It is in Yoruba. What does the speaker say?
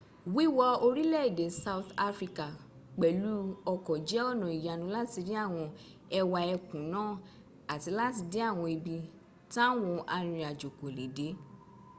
wíwọ orílẹ̀èdè south africa pẹ̀lú ọkọ̀ jẹ́ ọ̀nà ìyanu láti rí àwọn ẹwà ẹkùn náà àti láti dé àwọn ibi táwan arìnrìnajó kò lè dé